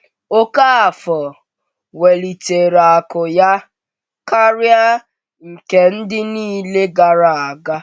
Okafor welitere akụ ya karịa nke ndị niile gara aga.